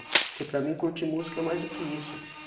Porque para mim curtir música é mais do que isso.